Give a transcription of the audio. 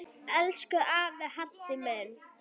Elsku afi Haddi minn.